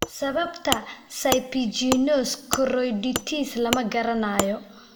Sababta serpiginous choroiditis lama garanayo.